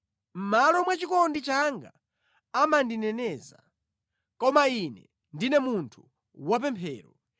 Mʼmalo mwa chikondi changa amandineneza, koma ine ndine munthu wapemphero.